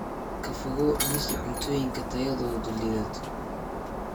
Ka fogow cunista cuntooyinka tayadoodu liidato.